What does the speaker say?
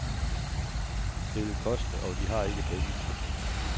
Det vil koste, og de har ikke pengene.